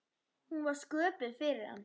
Hún var sköpuð fyrir hann.